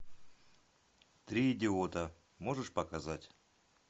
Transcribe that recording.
три идиота можешь показать